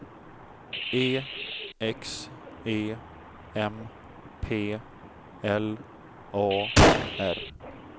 E X E M P L A R